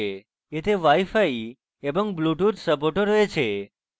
এতে wifi এবং bluetooth support ও রয়েছে